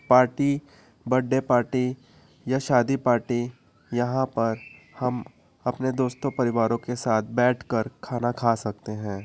Party birthday party या शादी party यहाँ पर हम अपने दोस्तों परिवारों के साथ बैठकर खाना खा सकते हैं।